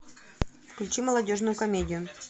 включи молодежную комедию